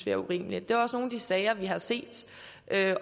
er urimeligt det er også nogle af de sager vi har set